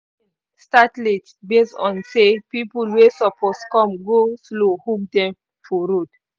start late based on say people wey suppose come go-slow hook dem for road